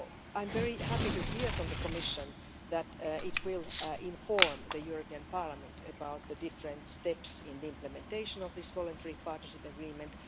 I am very happy to hear from the Commission that it will inform the European Parliament about the different steps in the implementation of this Voluntary Partnership Agreement.